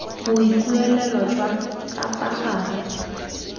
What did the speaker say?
boikuelo jwa ka fa gare